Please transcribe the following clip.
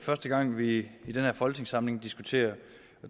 første gang vi i den her folketingssamling diskuterer